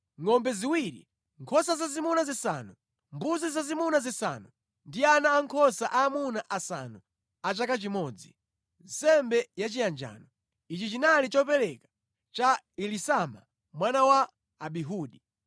ngʼombe ziwiri, nkhosa zazimuna zisanu, mbuzi zazimuna zisanu ndi ana ankhosa aamuna asanu a chaka chimodzi, nsembe yachiyanjano. Ichi chinali chopereka cha Elisama mwana wa Amihudi.